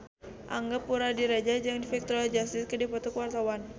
Angga Puradiredja jeung Victoria Justice keur dipoto ku wartawan